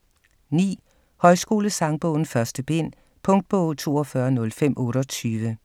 9. Højskolesangbogen 1. bind Punktbog 420528